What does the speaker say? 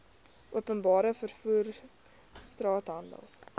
openbare vervoer straathandel